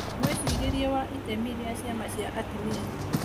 Mwĩcirĩrie wa itemi rĩa ciama cia atumia